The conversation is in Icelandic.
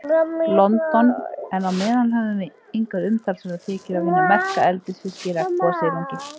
London, en á meðan höfum við engar umtalsverðar tekjur af hinum merka eldisfiski, regnbogasilungi.